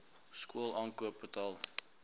skool aankoop betaal